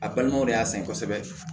A balimaw de y'a sɛgɛn kosɛbɛ